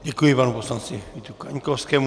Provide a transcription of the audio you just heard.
Děkuji panu poslanci Vítu Kaňkovskému.